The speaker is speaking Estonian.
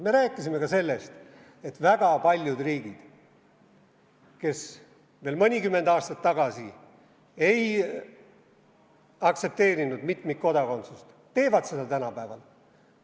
Me rääkisime ka sellest, et väga paljud riigid, kes veel mõnikümmend aastat tagasi ei aktsepteerinud mitmikkodakondsust, teevad seda tänapäeval.